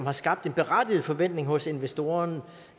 er skabt en berettiget forventning hos investoren